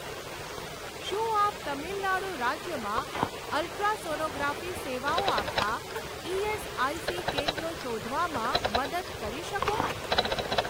શું આપ તમિલનાડુ રાજ્યમાં અલ્ટ્રાસોનોગ્રાફી સેવાઓ આપતાં ઇએસઆઇસી કેન્દ્રો શોધવામાં મદદ કરી શકો?